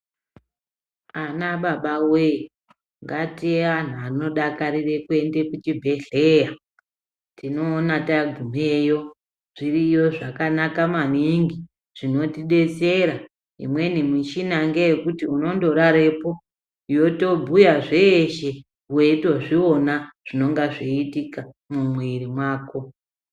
Anababawee ngatiwe antu anodakarire kuenda kuchibhedhleya tinoona tagumeyo zviri yo zvakanaka maningi zvinotidetsera. Imweni michina ngeyekuti unondorarepo yotobhuya zveshe weitozviona zvinenge zveiitika mumwiri mwako